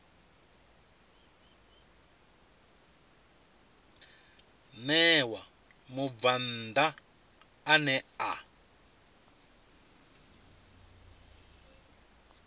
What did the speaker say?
ṋewa mubvann ḓa ane a